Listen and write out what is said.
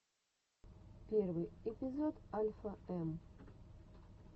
первый эпизод альфа эм